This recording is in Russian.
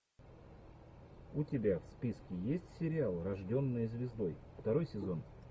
у тебя в списке есть сериал рожденная звездой второй сезон